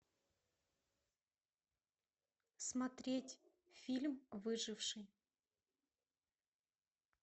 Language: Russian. смотреть фильм выживший